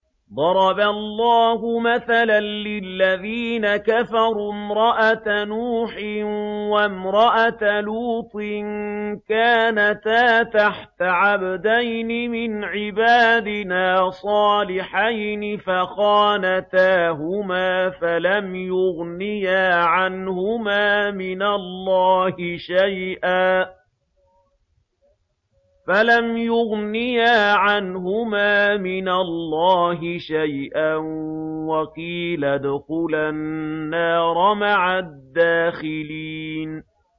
ضَرَبَ اللَّهُ مَثَلًا لِّلَّذِينَ كَفَرُوا امْرَأَتَ نُوحٍ وَامْرَأَتَ لُوطٍ ۖ كَانَتَا تَحْتَ عَبْدَيْنِ مِنْ عِبَادِنَا صَالِحَيْنِ فَخَانَتَاهُمَا فَلَمْ يُغْنِيَا عَنْهُمَا مِنَ اللَّهِ شَيْئًا وَقِيلَ ادْخُلَا النَّارَ مَعَ الدَّاخِلِينَ